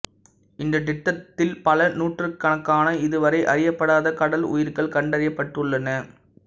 இந்த திட்டத்தில் பல நூற்றுக்கணக்கான இதுவரை அறியப்படாத கடல் உயிர்கள் கண்டறியப்பட்டுள்ளன